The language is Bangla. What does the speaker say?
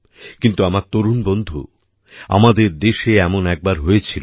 কিন্তু আমার তরুণ বন্ধু আমাদের দেশে এমন একবার হয়েছিল